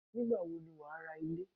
Nígbàwo ni wà á ra Ilé